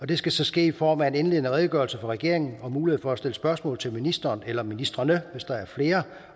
det skal så ske i form af en indledende redegørelse fra regeringen og mulighed for at stille spørgsmål til ministeren eller ministrene hvis der er flere